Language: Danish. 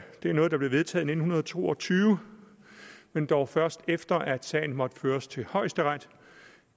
er noget der blev vedtaget i nitten to og tyve men dog først efter at sagen måtte føres til højesteret